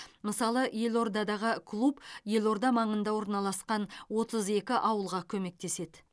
мысалы елордадағы клуб елорда маңында орналасқан отыз екі ауылға көмектеседі